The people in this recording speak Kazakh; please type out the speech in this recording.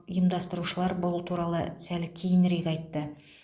ұйымдастырушылар бұл туралы сәл кейінірек айтты